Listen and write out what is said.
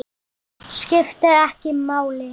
Skiptir ekki máli.